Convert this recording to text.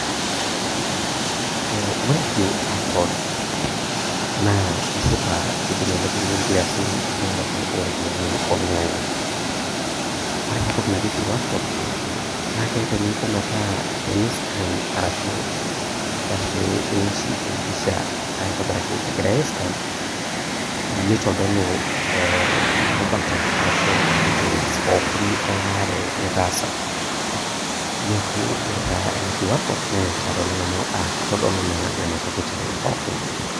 E ore QR code naa kesipa kidim ailepunye nkiasin erewata ompisaiboloingangi, ore enatoki naji QR code kidim ailepunye metaa teni scan arashu tenewoshi empisha aitobiraki egirai ai scan nitodoluribare ashu details pookin nitaasa neaku ore ena QR code na kitadolu ntokitin pookin.